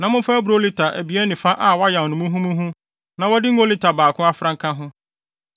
na momfa aburow lita abien ne fa a wɔayam no muhumuhu na wɔde ngo lita baako afra nka ho.